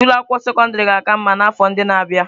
Ụlọ akwụkwọ sekọndrị ga-aka mma n'afọ ndị na-abịa.